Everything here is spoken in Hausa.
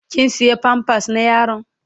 Kin siya "pampers "na yaron?